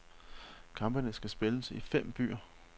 Kampene skal spilles i fem byer.